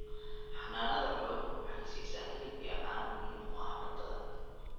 Xanaanada xooluhu waxay siisaa hilib iyo caano muhiim u ah cuntada.